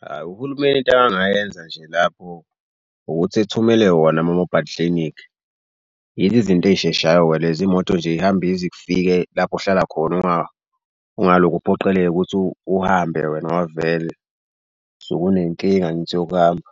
Hhayi uhulumeni into akangayenza nje lapho ukuthi ethumele wona ama-mobile clinic. Yizo izinto ezisheshayo-ke lezo imoto nje ihambe ize ifike lapho ohlala khona. Ungalokhu uphoqeleke ukuthi uhambe wena ngoba vele sokunenkinga angithi yokuhamba.